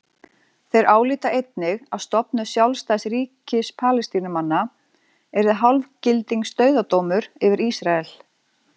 Þeir álíta einnig að stofnun sjálfstæðs ríkis Palestínumanna yrði hálfgildings dauðadómur yfir Ísrael.